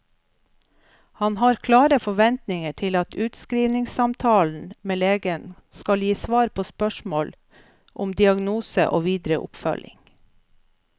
Han har klare forventninger til at utskrivningssamtalen med legen skal gi svar på spørsmål om diagnose og videre oppfølging.